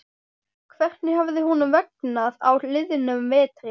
Hvernig hafði honum vegnað á liðnum vetri?